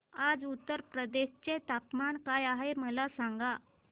आज उत्तर प्रदेश चे तापमान काय आहे मला सांगा